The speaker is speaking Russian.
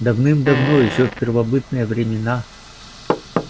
давным-давно ещё в первобытные времена